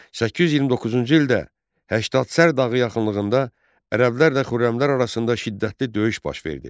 829-cu ildə Həştədsər dağı yaxınlığında ərəblərlə Xürrəmlər arasında şiddətli döyüş baş verdi.